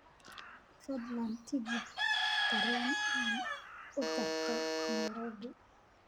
fadlan tigidh tareen u jarto nairobi